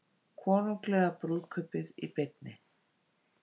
Konunglega brúðkaupið í beinni